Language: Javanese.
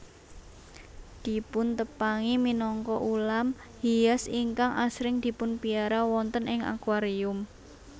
Dipuntepangi minangka ulam hias ingkang asring dipunpiara wonten ing akuarium